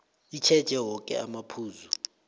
itjheje woke amaphuzu